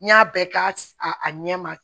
N y'a bɛɛ k'a a ɲɛ ma